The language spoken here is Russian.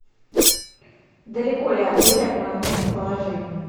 далеко ли отель от моего местоположения